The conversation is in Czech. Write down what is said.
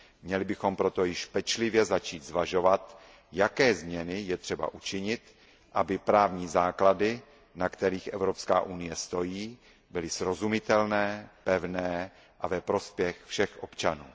Měli bychom proto již pečlivě začít zvažovat, jaké změny je třeba učinit, aby právní základy, na kterých Evropská unie stojí, byly srozumitelné, pevné a ve prospěch všech občanů.